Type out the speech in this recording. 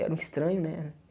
Era um estranho, né?